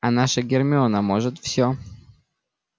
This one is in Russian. а наша гермиона может всё